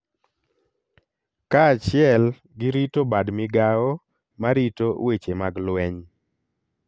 kaachiel gi rito bad migao ma rito weche mag lweny